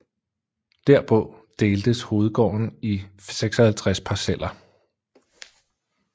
Derpå deltes hovedgården i 56 parceller